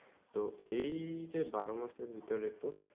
তো এই যে বড় মাসে ভিতরে তো